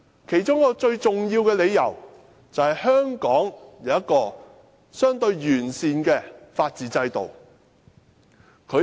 其中一個最重要的理由，便是香港有一個相對完善的法治制度。